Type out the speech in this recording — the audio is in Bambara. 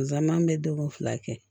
Nzamɛn bɛ denw fila kɛ